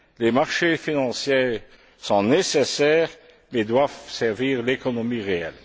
Les marchés financiers sont nécessaires mais doivent servir l'économie réelle.